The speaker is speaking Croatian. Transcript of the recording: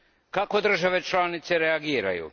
Kako države članice reagiraju?